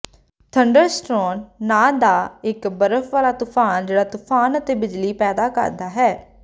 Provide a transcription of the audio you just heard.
ਥੰਡਰਸਰੋਨ ਨਾਂ ਦਾ ਇਕ ਬਰਫ਼ ਵਾਲਾ ਤੂਫਾਨ ਜਿਹੜਾ ਤੂਫ਼ਾਨ ਅਤੇ ਬਿਜਲੀ ਪੈਦਾ ਕਰਦਾ ਹੈ